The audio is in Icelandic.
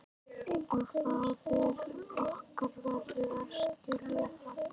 Og faðir okkar verður að skilja það.